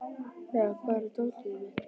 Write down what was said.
Lea, hvar er dótið mitt?